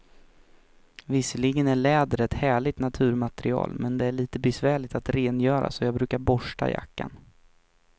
Visserligen är läder ett härligt naturmaterial, men det är lite besvärligt att rengöra, så jag brukar borsta jackan.